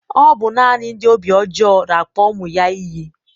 Ọ bụ naanị ndị obi ojoo na akpọ ụmụ ya iyi